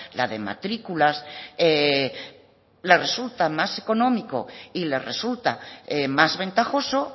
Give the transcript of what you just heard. la de matrículas les resulta más económico y les resulta más ventajoso